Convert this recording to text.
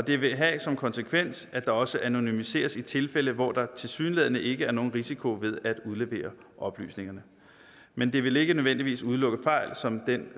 det vil have som konsekvens at der også anonymiseres i tilfælde hvor der tilsyneladende ikke er nogen risiko ved at udlevere oplysningerne men det vil ikke nødvendigvis udelukke fejl som den